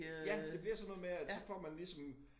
Ja det bliver sådan noget med at så får man ligesom